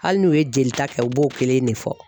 Hali n'u ye jelita kɛ u b'o kelen de fɔ